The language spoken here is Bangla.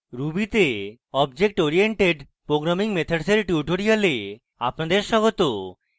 ruby তে object oriented programming methods এর tutorial আপনাদের স্বাগত